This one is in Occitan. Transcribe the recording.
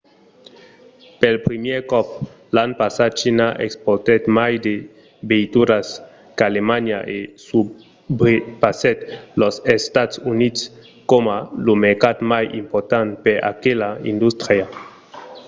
pel primièr còp l'an passat china exportèt mai de veituras qu’alemanha e subrepassèt los estats units coma lo mercat mai important per aquela industria